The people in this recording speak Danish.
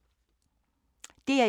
DR1